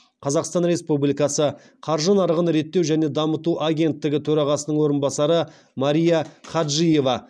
қазақстан республикасы қаржы нарығын реттеу және дамыту агенттігі төрағасының орынбасары мария хаджиева